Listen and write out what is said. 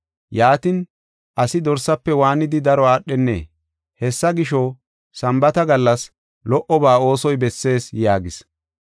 Yaatin asi dorsaafe waanidi daro aadhenee? Hessa gisho, Sambaata gallas lo77oba oosoy bessees” yaagis.